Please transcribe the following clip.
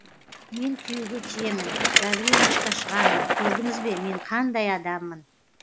мен күйеуге тиемін гаврилычқа шығамын көрдіңіз бе мен қандай адаммын